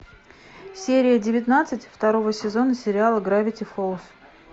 серия девятнадцать второго сезона сериала гравити фолз